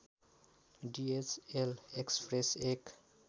DHL express एक